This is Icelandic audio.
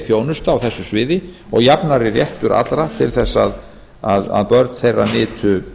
þjónusta á þessu sviði og jafnari réttur allra til þess að börn þeirra nytu